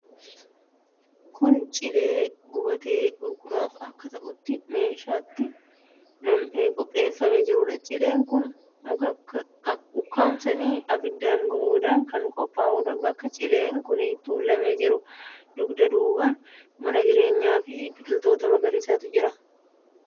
Kun cilee gubatee gurguraaf akka ta'utti keeshaatti nam'ee qopheeffamee jiruudha. Cileen kun muka ukkaamsanii abiddaan gubuudhaan kan qophaa'uudha. Bakka cileen kun tuulamee jiru dugda duubaan mana jireenyaafi biqiltoota magariisatu jira.